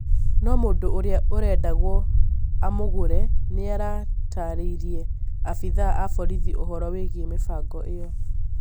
No mũndũ ũria ũrendagwo amũgũre nĩaratarĩirie abithaa a borĩthi ũhoro wĩgiĩ mĩbango ĩyo